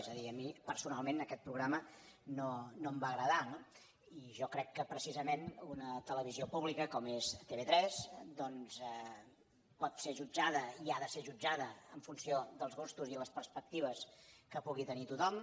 és a dir a mi personalment aquest programa no em va agradar no i jo crec que precisament una televisió pública com és tv3 doncs pot ser jutjada i ha de ser jutjada en funció dels gustos i les perspectives que pugui tenir tothom